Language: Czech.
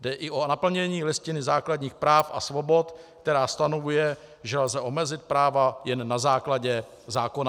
Jde i o naplnění Listiny základních práv a svobod, která stanovuje, že lze omezit práva jen na základě zákona.